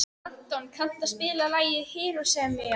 Anton, kanntu að spila lagið „Hiroshima“?